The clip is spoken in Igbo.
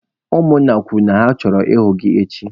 Ụmụ nna kwuru na ha chọrọ ịhụ gị echi!